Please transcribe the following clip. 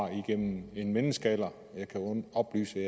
igennem en menneskealder jeg kan oplyse at